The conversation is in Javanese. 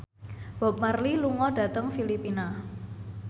Bob Marley lunga dhateng Filipina